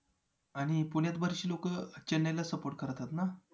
आणि पुण्यात बरीचशी लोकं चेन्नईला support करतात ना